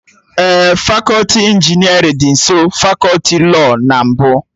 Ee, fakọti injinerịn dị nsọ fakọti lọọ na mbụ